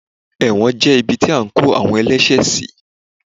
ẹwọ́n jẹ ibí ti a ko awon ẹlẹṣẹ sí